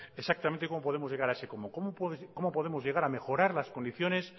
exactamente de cómo podemos llegar a ese cómo cómo podemos llegar a mejorar las condiciones